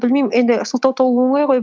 бәлмеймін енді сылтау табу оңай ғой